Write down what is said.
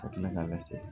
Ka tila ka lase